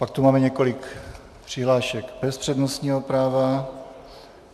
Pak tu máme několik přihlášek bez přednostního práva.